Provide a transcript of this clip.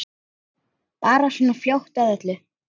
Bara svona fljót að öllu.